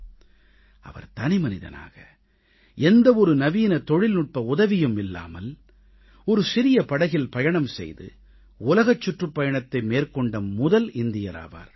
அவர் தனிமனிதனாக எந்த ஒரு நவீன தொழில்நுட்ப உதவியும் இல்லாமல் ஒரு சிறிய படகில் பயணம் செய்து உலகச் சுற்றுப் பயணத்தை மேற்கொண்ட முதல் இந்தியர் ஆவார்